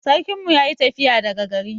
Sarkin mu yayi tafiya daga gari.